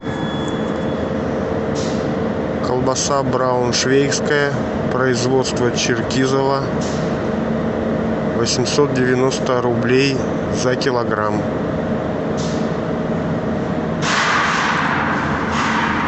колбаса брауншвейгская производство черкизово восемьсот девяносто рублей за килограмм